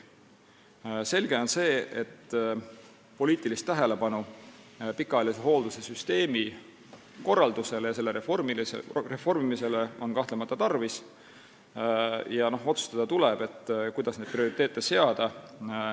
Selge on see, et poliitilist tähelepanu pikaajalise hoolduse süsteemi korraldusele ja selle reformimisele on kahtlemata tarvis ja tuleb otsustada, kuidas neid prioriteete seada.